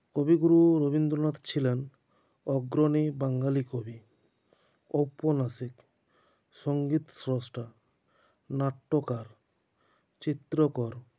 কবিগুরু রবীন্দ্রনাথ ছিলেন অগ্ৰনী বাঙ্গালী কবি ঔপন্যাসিক সঙ্গীতশ্রষ্ঠা নাট্যকার চিত্রকর